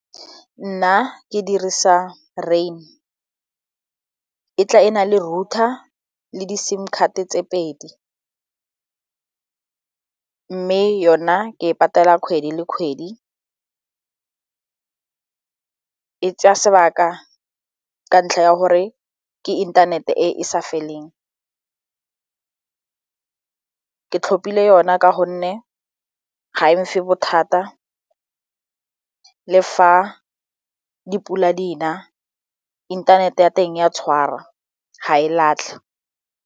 Nna ke dirisa rain e tla e na le router le di sim card tse pedi mme yona ke e patela kgwedi le kgwedi e tsaya sebaka ka ntlha ya gore ke inthanete e e sa feleng, ke tlhopile yona ka gonne ga e mphe bothata le fa dipula di na inthanete ya teng ya tshwara ga e latlhe.